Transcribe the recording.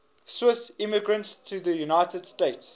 swiss immigrants to the united states